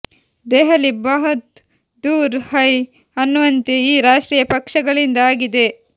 ದೆಹಲಿ ಬಹುತ್ ದೂರ್ ಹೈ ಅನ್ನುವಂತೆ ಈ ರಾಷ್ಟ್ರೀಯ ಪಕ್ಷಗಳಿಂದ ಆಗಿದೆ